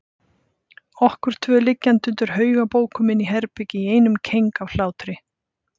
Okkur tvö liggjandi undir haug af bókum inni í herbergi í einum keng af hlátri.